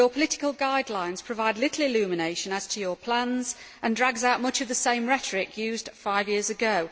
Mr Barroso, your political guidelines provide little illumination as to your plans and drag out much of the same rhetoric used five years ago.